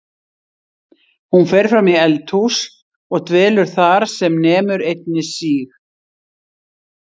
Hún fer fram í eldhús og dvelur þar sem nemur einni síg